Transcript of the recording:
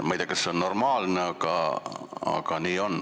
Ma ei tea, kas see on normaalne, aga nii on.